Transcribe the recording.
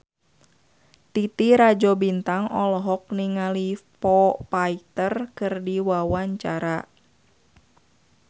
Titi Rajo Bintang olohok ningali Foo Fighter keur diwawancara